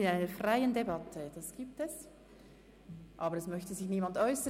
Wir führen eine freie Debatte, aber es möchte sich niemand mehr äussern.